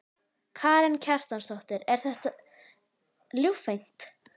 Karen Kjartansdóttir: Er þetta ljúffengt?